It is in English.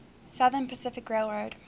southern pacific railroad